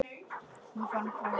Hún fann hvergi búðina.